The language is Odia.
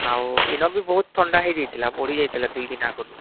ଆଉ ଇନ ବି ବହୁତ ଥଣ୍ଡା ହେଇଯାଇଥିଲା ବଢି ଯାଇଥିଲା ଦୁଇ ଦିନ ଆଗରୁ